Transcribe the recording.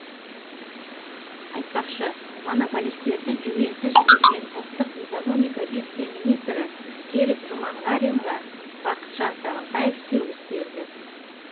айтпақшы монополистерді жүгенсіз жіберген ұлттық экономика вице министрі серік жұманғаринға бақытжан сағынтаев сөгіс берді